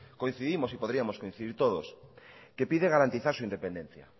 coincidimos y podríamos coincidir todos que pide garantizar su independencia